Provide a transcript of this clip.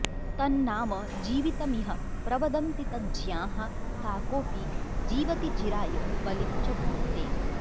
तन्नाम जीवितमिह प्रवदन्ति तज्ज्ञाः काकोऽपि जीवति चिराय बलिं च भुङ्क्ते